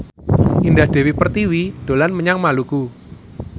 Indah Dewi Pertiwi dolan menyang Maluku